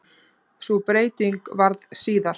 Sú breyting varð síðar.